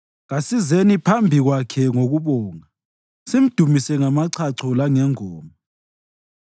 Kasizeni phambi kwakhe ngokubonga simdumise ngamachacho langengoma.